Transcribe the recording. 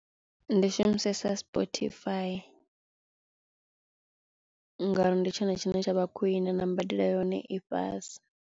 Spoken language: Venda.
Ndi shumisesa Spotify ngori ndi tshone tshine tsha vha khwiṋe na mbadelo yohone i fhasi.